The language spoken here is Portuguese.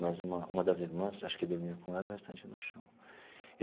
Mas uma uma das irmãs, acho que dormia com ela, o restante no chão.